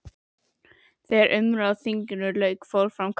Þegar umræðum á þinginu lauk fór fram kosning.